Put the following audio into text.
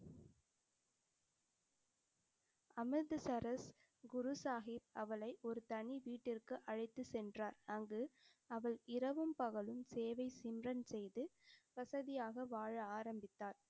அமிர்தசரஸ் குரு சாஹிப் அவளை ஒரு தனி வீட்டிற்கு அழைத்துச் சென்றார். அங்கு அவள் இரவும், பகலும் சேவை செய்து வசதியாக வாழ ஆரம்பித்தார்.